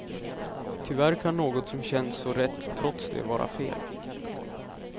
Tyvärr kan något som känns så rätt trots det vara fel.